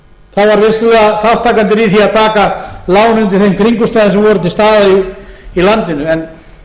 þátttakendur í því að taka lán undir þeim kringumstæðum sem voru til staðar í landinu en